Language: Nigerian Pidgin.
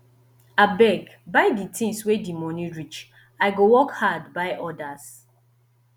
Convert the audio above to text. abeg buy di tins wey di moni reach i go work hard buy odas